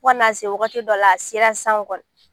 Fo ka na se waagati dɔ la, a sera sisan kɔɔni.